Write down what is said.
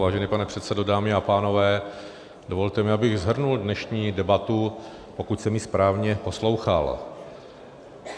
Vážený pane předsedo, dámy a pánové, dovolte mi, abych shrnul dnešní debatu, pokud jsem ji správně poslouchal.